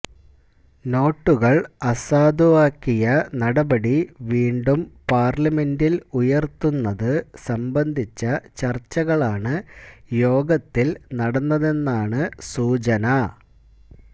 നോട്ടുകള് അസാധുവാക്കിയ നടപടി വീണ്ടും പാര്ലമെന്റില് ഉയര്ത്തുന്നത് സംബന്ധിച്ച ചര്ച്ചകളാണ് യോഗത്തില് നടന്നതെന്നാണ് സൂചന